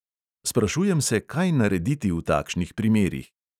Sprašujem se, kaj narediti v takšnih primerih.